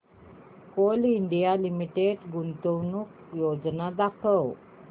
Coal India Limited गुंतवणूक योजना दाखव